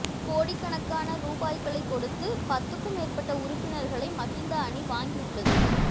கோடிக்கணக்கான ரூபாய்களை கொடுத்து பத்துக்கும் மேற்பட்ட உறுப்பினர்களை மஹிந்த அணி வாங்கி உள்ளது